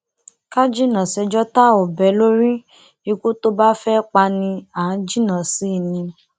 ká jìnnà sẹ́jọ́ tá ò bẹ́ lórí ikú tó bá fẹ́ pani à á jìnnà sí i ni